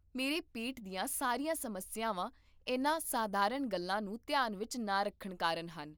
ਮੇਰੇ ਪੇਟ ਦੀਆਂ ਸਾਰੀਆਂ ਸਮੱਸਿਆਵਾਂ ਇਨ੍ਹਾਂ ਸਾਧਾਰਨ ਗੱਲਾਂ ਨੂੰ ਧਿਆਨ ਵਿਚ ਨਾ ਰੱਖਣ ਕਾਰਨ ਹਨ